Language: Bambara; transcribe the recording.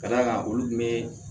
Ka d'a kan olu tun bɛ